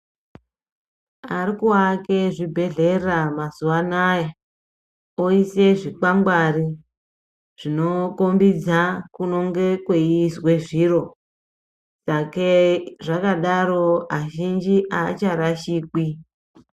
Arikuake zvibhedhlera mazuva anaya voise zvikwangwari zvinokombidza kunonga kweiiswe zviro, sakei zvakadaro azhinji aacharashikwi.